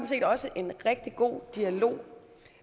set også en rigtig god dialog